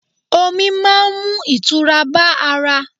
Ọmi máa ń mú ìtura bá ara.